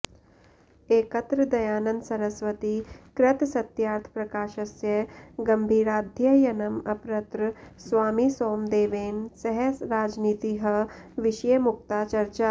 एकत्र दयानन्द सरस्वती कृत सत्यार्थप्रकाशस्य गम्भीराध्ययनम् अपरत्र स्वामिसोमदेवेन सह राजनीतिः विषये मुक्ता चर्चा